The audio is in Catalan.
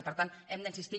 i per tant hi hem d’insistir